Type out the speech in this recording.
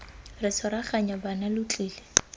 re tshwaraganya bana lo tlile